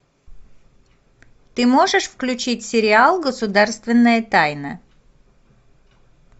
ты можешь включить сериал государственная тайна